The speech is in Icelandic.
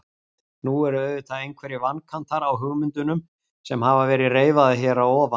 Nú eru auðvitað einhverjir vankantar á hugmyndunum sem hafa verið reifaðar hér að ofan.